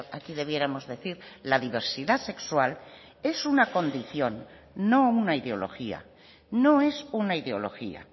aquí debiéramos decir la diversidad sexual es una condición no una ideología no es una ideología